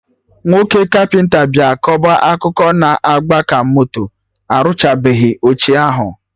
Nwoke kapịnta bịa kọba akụkọ na-agba ka moto, orụchabeghi oche ahụ